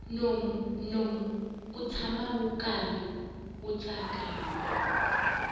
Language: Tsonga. nomu wu tshama wu karhi wu tsakama